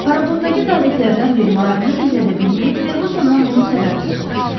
Paraxoddakı zabitlərdən biri marağını gizlədə bilməyib Ferqussondan bunun səbəbini soruşdu.